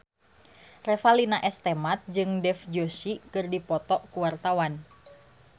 Revalina S. Temat jeung Dev Joshi keur dipoto ku wartawan